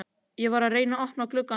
Ég var að reyna að opna gluggann áðan.